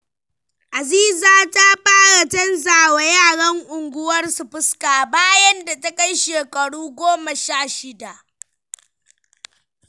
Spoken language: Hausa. Aziza ta fara canjawa yaran unguwarsu fuska bayan da ta kai shekaru sha shida.